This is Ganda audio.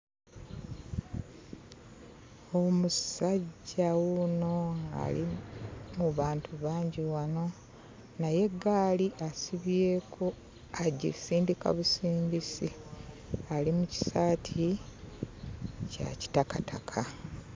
Omusajja wuuno ali mu bantu bangi wano naye eggaali asibyeko agisindika busindisi, ali mu kisaati kya kitakataka.